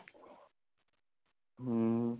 ਹੁਮ